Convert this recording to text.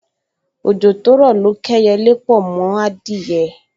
Ojo to ro lo k’eyele po m’adiye